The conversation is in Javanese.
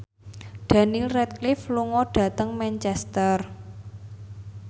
Daniel Radcliffe lunga dhateng Manchester